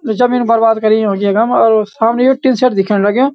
ये जमीन बर्बाद करी युंकी यखम और सामने ये टीनशेड दिखेण लग्युं।